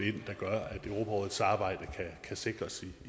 europarådets arbejde kan sikres